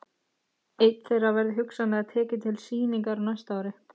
Einn þeirra verði hugsanlega tekinn til sýningar á næsta ári.